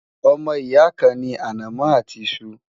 ọmọ ìyà kàn ní anamó àti iṣu